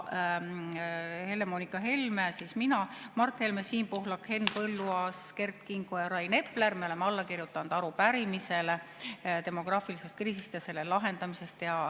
Helle‑Moonika Helme ehk mina, Mart Helme, Siim Pohlak, Henn Põlluaas, Kert Kingo ja Rain Epler on alla kirjutanud arupärimisele demograafilise kriisi ja selle lahendamise kohta.